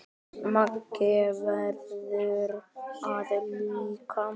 Maggi verður það líka.